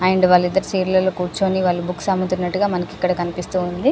And వాళ్లిద్దరూ chair లలో కూర్చొని వాళ్ళు బుక్స అమ్ముతున్నటుగా మనకు ఇక్కడ కనిపిస్తు ఉంది.